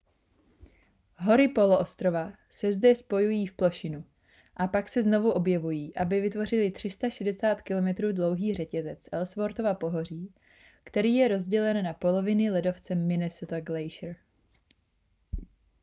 hory poloostrova se zde spojují v plošinu a pak se znovu objevují aby vytvořily 360 km dlouhý řetězec ellsworthova pohoří který je rozdělen na poloviny ledovcem minnesota glacier